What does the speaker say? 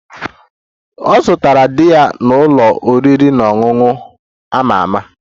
Ọ zutere di ya n'ụlọ oriri na ọṅụṅụ a ma ama